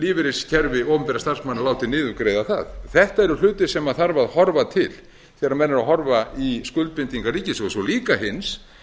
lífeyriskerfi opinberra starfsmanna látið niðurgreiða það þetta eru hlutir sem þarf að horfa til þegar menn eru að horfa í skuldbindingar ríkissjóðs og líka hins